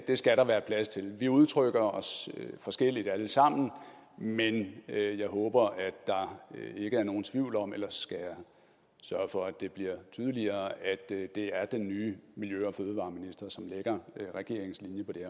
skal der være plads til vi udtrykker os forskelligt alle sammen men jeg håber at der ikke er nogen tvivl om ellers skal jeg sørge for at det bliver tydeligere at det er den nye miljø og fødevareminister som lægger regeringens linje på det